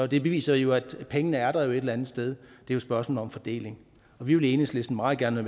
det beviser jo at pengene er der et eller andet sted det er et spørgsmål om fordeling vi vil i enhedslisten meget gerne